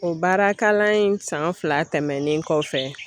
O baara kalan in san fila tɛmɛnen kɔfɛ.